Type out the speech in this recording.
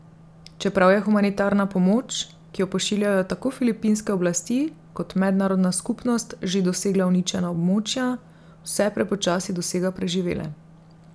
Čeprav je humanitarna pomoč, ki jo pošiljajo tako filipinske oblasti kot mednarodna skupnost že dosegla uničena območja, vse prepočasi dosega preživele.